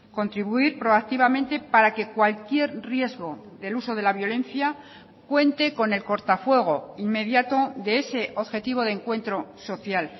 contribuir pro activamente para que cualquier riesgo del uso de la violencia cuente con el cortafuego inmediato de ese objetivo de encuentro social